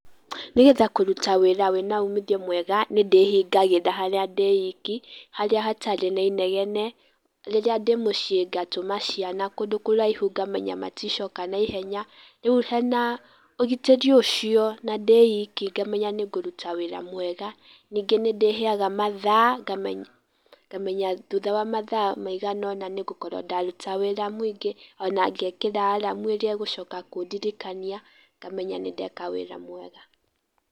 Nĩgetha kũruta wĩra wĩna umithio mwega nĩndĩhingagĩra harĩa ndĩiki, harĩa hatarĩ na inegene. Rĩrĩa ndĩmũciĩ ngatũma ciana kũndũ kũraihu ngamenya maticoka na ihenya. Rĩu hena ũgitĩri ũcio na ndĩiki ngamenya nĩ ngũruta wĩra mwega. Ningĩ nĩ ndĩheaga mathaa, ngamenya thutha wa mathaa maigana ũna nĩngũkorwo ndaruta wĩra mũingĩ ona ngekĩra aramu ĩrĩa ĩgũcoka kundirikania ngamenya nĩ ndeka wĩra mwega.